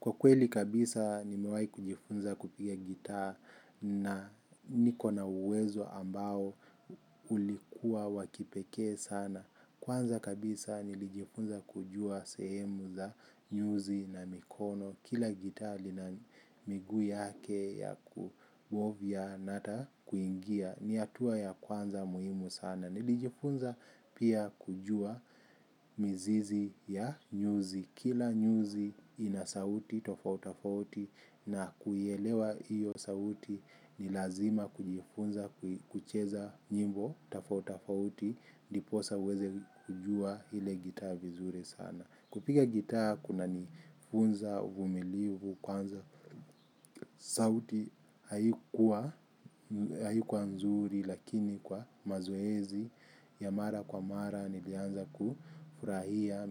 Kwa kweli kabisa nimewahi kujifunza kupiga gitaa na niko na uwezo ambao ulikua wakipeke sana. Kwanza kabisa nilijifunza kujua sehemu za nyuzi na mikono. Kila gitaa lina miguu yake ya kuwovia nata kuingia ni hatua ya kwanza muhimu sana. Nilijifunza pia kujua mizizi ya nyuzi. Kila nyuzi inasauti tofautofauti na kuielewa hiyo sauti ni lazima kujifunza kucheza nyimbo tafautafauti ndipo sasa uweze kujua ile gitaa vizuri sana. Kupiga gitaa kunanifunza uvumilivu kwanza. Sauti haikua nzuri lakini kwa mazoezi ya mara kwa mara nilianza kufurahia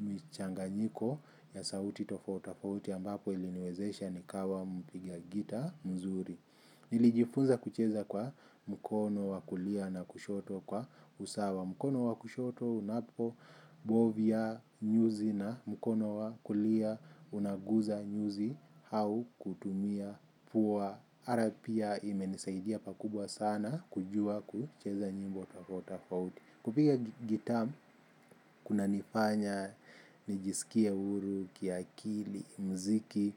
michanganyiko ya sauti tofautitofauti ambapo iliniwezesha nikawa mpiga gita mzuri. Nilijifunza kucheza kwa mkono wa kulia na kushoto kwa usawa, mkono wa kushoto unapo, bovia nyuzi na mkono wa kulia unaguza nyuzi au kutumia puwa. Ara pia imenisaidia pakubwa sana kujua kucheza nyimbo tofautitofauti. Kupiga gitaa kunanifanya nijisikie huru kiakili, mziki,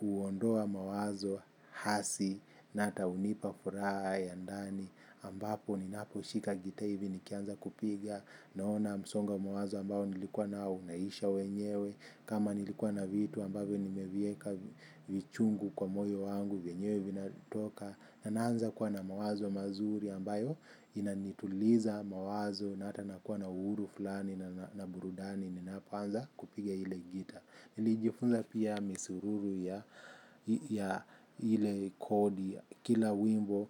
huondoa mawazo hasi, nahata hunipa furaha ya ndani, ambapo ninapo shika gitaa hivi nikianza kupiga, naona msongo wa mawazo ambao nilikuwanao unaisha wenyewe, kama nilikuwa na vitu ambavyo nimeviweka vichungu kwa moyo wangu vyenyewe vinatoka nanaanza kuwa na mawazo mazuri ambayo inanituliza mawazo na hata nakuwa na uhuru fulani na burudani ninapoanza kupiga ile gita. Nilijifunza pia misururu ya, ya ile kodi, kila wimbo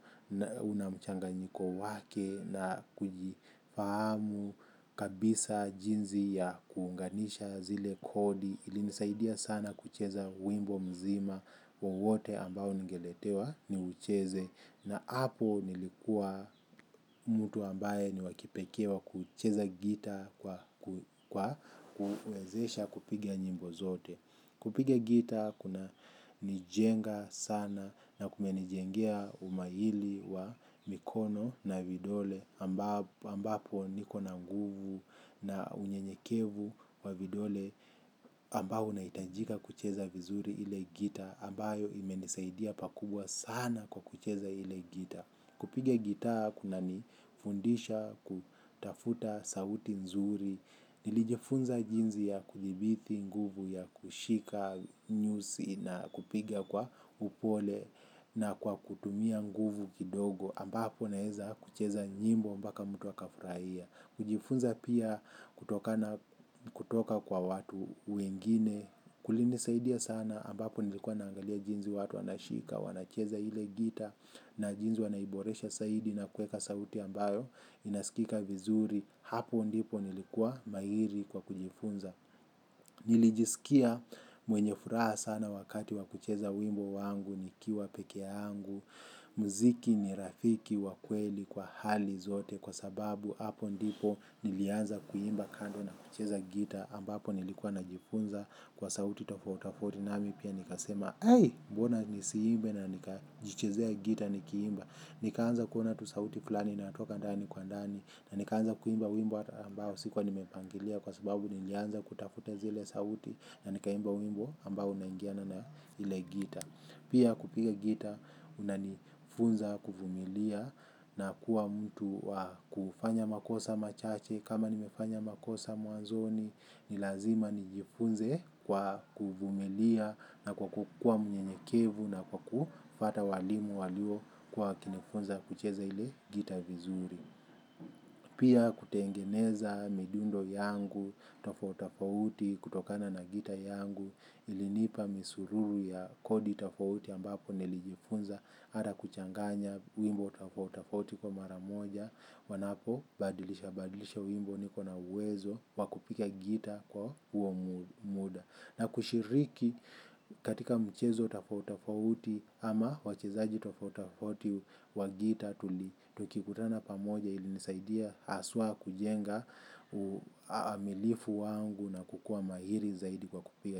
unamchanganyiko wake na kujifahamu kabisa jinsi ya kuunganisha zile kodi ilinisaidia sana kucheza wimbo mzima wowote ambao ningeletewa niucheze. Na hapo nilikua mtu ambaye ni wakipekee wa kucheza gitaa kwa kuwezesha kupigia nyimbo zote. Kupigia gitaa kunanijenga sana na kumenijengea umahili wa mikono na vidole. Ambapo niko na nguvu na unyenyekevu wa vidole. Ambao unahitajika kucheza vizuri ile gitaa ambayo imenisaidia pakubwa sana kwa kucheza ile gitaa. Kupiga gitaa kunanifundisha kutafuta sauti nzuri, nilijifunza jinsi ya kudhibiti nguvu ya kushika. Nyuzi na kupiga kwa upole. Na kwa kutumia nguvu kidogo ambapo naweza kucheza nyimbo mbaka mtu akafurahia kujifunza pia kutokana, kutoka kwa watu wengine, kulinisaidia sana ambapo nilikuwa naangalia jinsi watu wanashika, wanacheza ile gita na jinsi wanaiboresha zaidi na kuweka sauti ambayo inaskika vizuri, hapo ndipo nilikuwa mahiri kwa kujifunza. Nilijisikia mwenye furaha sana wakati wakucheza wimbo wangu nikiwa pekeangu. Mziki ni rafiki wa kweli kwa hali zote kwa sababu hapo ndipo nilianza kuimba kando na kucheza gitaa ambapo nilikuwa najifunza kwa sauti tofautitofauti namimi pia nika sema mbona nisiimbe na nikajichezea gitaa nikiimba. Nikaanza kuona tu sauti fulani inatoka ndani kwa ndani. Na nikaanza kuimba wimbo ambao sikuwa nimepangilia kwa sababu nilianza kutafuta zile sauti na nikaimba wimbo ambao naingiana na ile gitaa. Pia kupiga gita kunanifunza kuvumilia na kuwa mtu. Kufanya makosa machache kama nimefanya makosa mwanzoni ni lazima nijifunze kwa kuvumilia na kukua mnyenyekevu na kufata walimu waliokuwa wakinifunza kucheza ile gita vizuri. Pia kutengeneza midundo yangu tofautitofauti kutokana na gitaa yangu. Ilinipa misururu ya kodi tofauti ambapo nilijifunza hata kuchanganya wimbo tafotafauti kwa maramoja wanapo badilisha badilisha wimbo nikona uwezo wa kupiga gita kwa huo muda na kushiriki, katika mchezo tofautitofauti ama wachezaji tofautitofauti wa gitaa tukikutana pamoja ili nisaidia haswa kujenga amilifu wangu na kukua mahiri zaidi kwa kupiga.